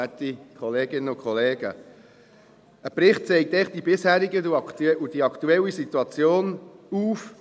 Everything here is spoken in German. Ein Bericht zeigt einfach die bisherige und die aktuelle Situation auf.